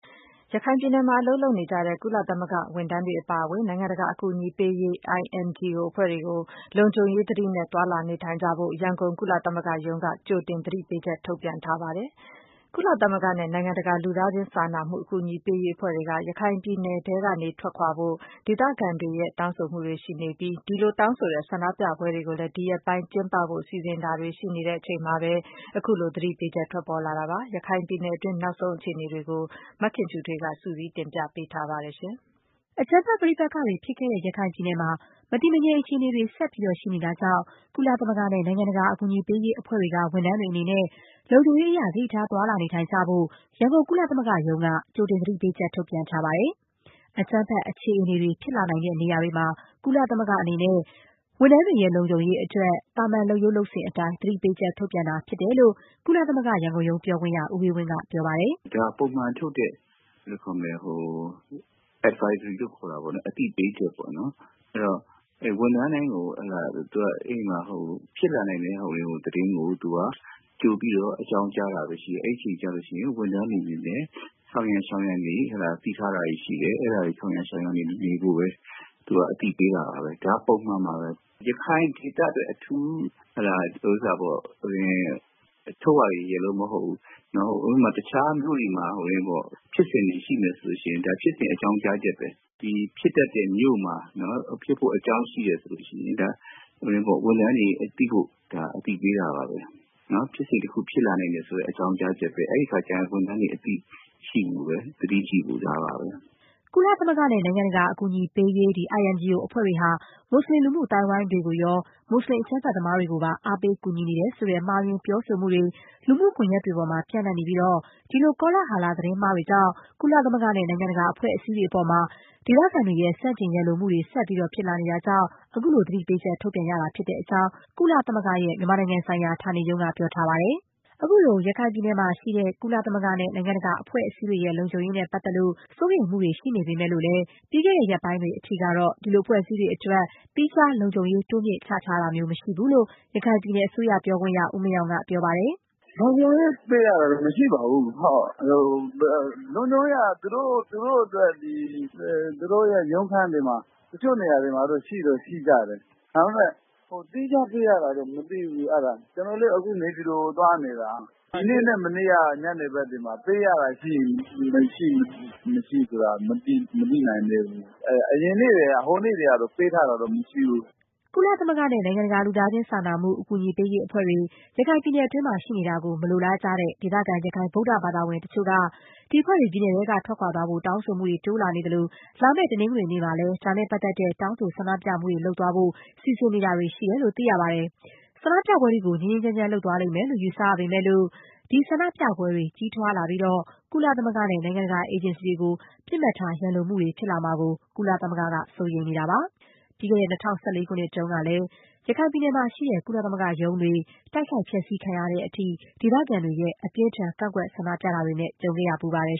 ရခိုင်ပြည်နယ်မှာ အလုပ်လုပ်နေကြတဲ့ ကုလသမဂ္ဂ ဝန်ထမ်းတွေ အပါအဝင် နိုင်ငံတကာ အကူအညီပေးရေး INGO အဖွဲ့တွေကို လုံခြုံရေး သတိနဲ့ သွားလာနေထိုင်ကြဖို့ ရန်ကုန် ကုလသမဂ္ဂရုံးက ကြိုတင် သတိပေးချက် ထုတ်ပြန်ထားပါတယ်။ ကုလသမဂ္ဂနဲ့ နိုင်ငံတကာ လူသားချင်းစာနာမှု အကူအညီပေးရေး အဖွဲ့တွေက ရခိုင်ပြည်နယ်ထဲကနေ ထွက်ခွာဖို့ ဒေသခံတွေရဲ့ တောင်းဆိုမှုတွေ ရှိနေပြီး၊ ဒီလို တောင်းဆိုတဲ့ ဆန္ဒပြပွဲတွေကိုလည်း ဒီရက်ပိုင်း ကျင်းပဖို့ စီစဉ်တာတွေ ရှိနေချိန်မှာပဲ အခု သတိပေးချက် ထွက်ပေါ်လာတာပါ။ ဒီလို ရခိုင်ပြည်နယ်တွင်း နောက်ဆုံး အခြေအနေကိုတော့ မခင်ဖြူထွေးက စုစည်း တင်ပြပေးပါမယ်။ အကြမ်းဖက်ပဋိပက္ခတွေ ဖြစ်ခဲ့တဲ့ ရခိုင်ပြည်နယ်မှာ မတည်မငြိမ် အခြေအနေတွေ ဆက်ရှိနေတာကြောင့် ကုလသမဂ္ဂနဲ့ နိုင်ငံတကာ အကူအညီပေးရေး အဖွဲ့တွေက ဝန်ထမ်းတွေအနေနဲ့ လုံခြုံရေးအရ သတိထား သွားလာ နေထိုင်ကိုင်ကြဖို့ ကုလသမဂ္ဂက ကြိုတင် သတိပေးချက် ထုတ်ပြန်ထားပါတယ်။ အကြမ်းဖက် အခြေအနေတွေ ဖြစ်လာနိုင်တဲ့နေရာတွေမှာ ကုလသမဂ္ဂအနေနဲ့ ဝန်ထမ်းတွေရဲ့ လုံခြုံရေးအတွက် သာမန် လုပ်ရေးလုပ်စဉ်အတိုင်း သတိပေးချက် ထုတ်ပြန်တာသာ ဖြစ်တယ်လို့ ကုလသမဂ္ဂ ရန်ကုန်ရုံး ပြောခွင့်ရ ဦးအေးဝင်းက ပြောပါတယ်။ “ဒါပုံမှန်ထုတ်တဲ့ Advisory လို့ခေါ်တာပေါ့နော် အသိပေးချက် ပေါ့နော်။ သူက ဝန်ထမ်းတိုင်းကို ဖြစ်လာနိုင်တဲ့ သတင်းကို ကြိုပြီးတော့ အကြောင်းကြားတာပဲရှိတယ်။ အဲဒီအချိန်ကျရင် ဝန်ထမ်းတွေအနေနဲ့ ဆောင်ရန်ရှောင်ရန်တွေ သတိပေးထားတာတွေရှိတယ် အဲဒါတွေ ဆောင်ရန်ရှောင်ရန် နေဖို့ပဲ အသိပေးတာပါပဲ။ ဒါက ပုံမှန်ပါပဲ။ ရခိုင်ဒေသအတွက် အထူးထုတ်ရတယ်လို့တော့မဟုတ်ဘူး ၊ တခြားမြို့တွေမှာ ဖြစ်စဉ်တွေရှိမယ်ဆိုရင် ဒါဖြစ်စဉ်အကြောင်းကြားချက်ပဲ ဒါဖြစ်တတ်တဲ့မြို့မှာ ဖြစ်ဖို့အကြောင်းရှိတယ်ဆိုရင် ဝန်ထမ်းတွေ သိဖို့ ဒါအသိပေးတာပါပဲ။ ဖြစ်စဉ်တခုဖြစ်လာနိုင်တယ်ဆိုတဲ့အကြောင်းကြားချက်ပဲ အဲဒီအခါကျရင် ဝန်ထမ်းတွေ အသိရှိဖို့၊ သတိရှိဖို့ ဒါပါပဲ။” ကုလသမဂ္ဂနဲ့ နိုင်ငံတကာ အကူအညီပေးရေး အဖွဲ့တွေဟာ မူစလင် လူမှုအသိုင်းအဝိုင်းကိုရော၊ မူစလင် အကြမ်းဖက်သမားတွေကိုပါ အားပေး ကူညီနေတယ်ဆိုတဲ့ မှားယွင်းပြောဆိုမှုတွေ လူမှုကွန်ရက်တွေပေါ်မှာ ပျံ့နှံ့နေပြီး ဒီလို ကောလာဟလ သတင်းမှားတွေကြောင့် ကုလသမဂ္ဂနဲ့ နိုင်ငံတကာ အဖွဲ့အစည်းတွေအပေါ် ဆန့်ကျင် ရန်လိုမှုတွေ ဆက်ဖြစ်လာနိုင်တာကြောင့် အခုလို သတိပေးချက် ထုတ်ပြန် ရတာဖြစ်တဲ့အကြောင်း ကုလသမဂ္ဂရဲ့ မြန်မာနိုင်ငံဆိုင်ရာ ဌာနေရုံးက ပြောထားပါတယ်။ ခုလို ရခိုင်မှာရှိတဲ့ ကုလသမဂ္ဂနဲ့ နိုင်ငံတကာ အဖွဲ့အစည်းတွေရဲ့ လုံခြုံရေးနဲ့ပတ်သက်လို့ စိုးရိမ်မှုတွေ ရှိပေမဲ့လည်း ပြီးခဲ့တဲ့ရက်ပိုင်းအထိ တော့ ဒီလို အဖွဲ့အစည်းတွေ အတွက် သီးခြား လုံခြုံရေး တိုးမြင့်ချထားတာမျိုးတော့ မရှိဘူးလို့ ရခိုင်ပြည်နယ် အစိုးရပြောခွင့်ရ ဦးမင်းအောင် က ပြောပါတယ်။ “လုံခြုံရေးပေးရတာတော့ မရှိပါဘူး ။ လုံခြုံရေးက သူတို့ရုံးခန်းတွေမှာ တချို့နေရာတွေမှာ ရှိတော့ရှိကြတယ်။ ဒါပေမယ့် သီးခြားပေးထားရတာတော့ မရှိဘူး။ ကျနော်လည်း နေပြည်တော်ကိုသွားနေတာ။ ဒီနေ့မနက်နဲ့ မနေ့က ညနေဘက်တွေ ပေးရတာရှိမရှိဆိုတာတွေတော့ မသိနိုင်သေးဘူး။ အရင် ဟိုနေ့တွေကတော့ ပေးထားတာတော့ မရှိဘူး။” ကုလသမဂ္ဂနဲ့ နိုင်ငံတကာ လူသားချင်းစာနာမှု အကူအညီပေးရေး အဖွဲ့တွေ ရခိုင်ပြည်နယ်အတွင်း ရှိနေတာကို မလိုလားကြတဲ့ ဒေသခံ ရခိုင်ဗုဒ္ဓဘာသာဝင် တချို့က ဒီအဖွဲ့တွေ ပြည်နယ်ထဲကနေ ထွက်ခွာဖို့ တောင်းဆိုမှုတွေ တိုးလာနေသလို၊ လာမယ့် တနင်္ဂနွေနေ့မှာလည်း ဒါနဲ့ပတ်သက်တဲ့ တောင်းဆို ဆန္ဒပြမှုတွေလုပ်သွားဖို့ စီစဉ်နေတာတွေ ရှိတယ်လို့ သိရပါတယ်။ ဆန္ဒပြပွဲတွေကို ငြိမ်းငြိမ်းချမ်းချမ်း လုပ်သွား လိမ့်မယ်လို့ ယူဆရပေမဲ့လို့၊ ဆန္ဒပြပွဲတွေ ကြီးထွားလာပြီး ကုလသမဂ္ဂနဲ့ နိုင်ငံတကာ အေဂျင်စီတွေကို ပစ်မှတ်ထား ရန်လိုမှုတွေ ဖြစ်လာမှာကို ကုလသမဂ္ဂက စိုးရိမ်နေတာပါ။ ပြီးခဲ့တဲ့ ၂၀၁၄ ခုနှစ်တုန်းကလည်း ရခိုင်ပြည်နယ်မှာရှိတဲ့ ကုလသမဂ္ဂရုံးတွေ တိုက်ခိုက် ဖျက်ဆီး ခံရတဲ့အထိ ဒေသခံတွေရဲ့ အပြင်းအထန် ကန့်ကွက်ဆန္ဒပြတာတွေ ကြုံခဲ့ဖူးပါတယ်